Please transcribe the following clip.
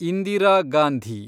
Indira Gandhi